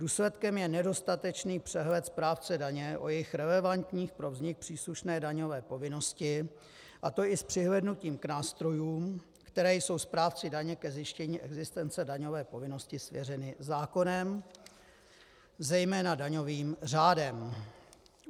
Důsledkem je nedostatečný přehled správce daně o jejich relevantních pro vznik příslušné daňové povinnosti, a to i s přihlédnutím k nástrojům, které jsou správci daně ke zjištění existence daňové povinnosti svěřeny zákonem, zejména daňovým řádem.